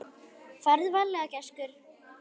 Farðu varlega gæskur.